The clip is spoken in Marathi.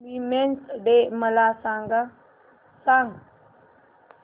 वीमेंस डे मला सांग